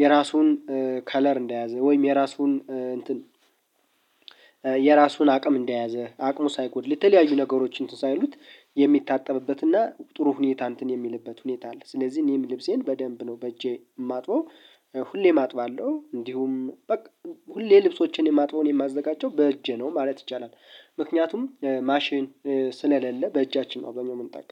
የራሱን ከለር እንደያዘ ወይም የራሱን እንትን አቅም እንደያዘ አቅሙ ሳይጎድል የተለያዩ ነገሮች እንትን ሳይሉት የሚታጠብበትና ጥሩ ሁኔታ እንትን የሚልበት ሁኔታ አለ። ስለዚህ እኔም ልብሴን በደንብ ነው በእጄ ማጥበው። ሁሌም አጥባለሁ እንዲሁም በቃ ሁሌ ልብሶችን የማጥበውን የማዘጋጃቸው በእጄ ነው ማለት ይቻላል። ምክንያቱም ማሽን ስለሌለ በእጃችን ነው አብዛኛው የምንጠቀመው